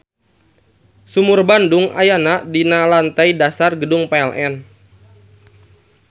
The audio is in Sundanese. Sumur Bandung ayana di lantei dasar Gedung PLN.